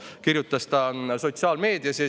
Nii kirjutas ta sotsiaalmeedias.